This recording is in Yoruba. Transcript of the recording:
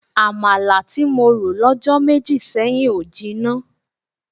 Àmàlà tí mo rò lọ́jọ́ méjì sẹ́yìn ò jinná.